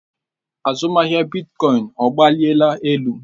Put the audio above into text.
Azụmahịa bitkọin ọgbaliela elu?